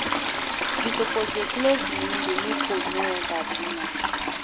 You suppose dey close di window, make cold no enter too much.